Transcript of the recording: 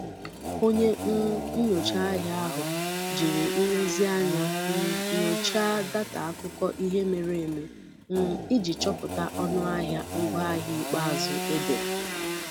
Onye um nyocha ahịa ahụ jiri nlezianya um nyochaa data akụkọ ihe mere eme um iji chọpụta ọnụ ahịa ngwaahịa ikpeazụ edere.